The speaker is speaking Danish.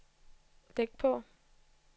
læg på